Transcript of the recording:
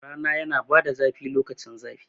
Rana yana bada zafi sosai lokacin zafi